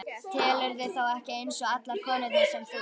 Telurðu þá ekki eins og allar konurnar sem þú?